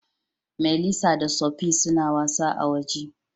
Melissa da Sophie suna wasa a'woje.